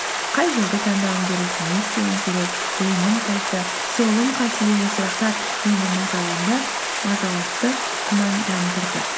қай жолды таңдауым керек не істеуім керек оңым қайсысы солым қайсысы деген сұрақтар мені мазалатты күмәндандырды